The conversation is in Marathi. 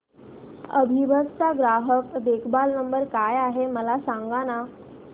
अभिबस चा ग्राहक देखभाल नंबर काय आहे मला सांगाना